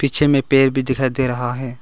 पीछे में पेड़ भी दिखाई दे रहा है।